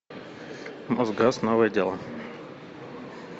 мосгаз новое дело